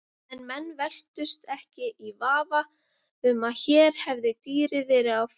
En menn velktust ekki í vafa um að hér hefði dýrið verið á ferð.